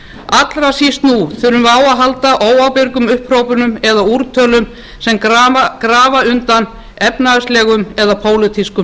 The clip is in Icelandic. allra síst nú þurfum við á að halda óábyrgum upphrópunum eða úrtölum sem grafa undan efnahagslegum eða pólitískum